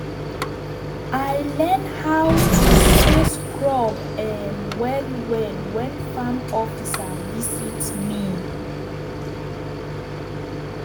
i learn how to space crop um well well when farm officer visit me.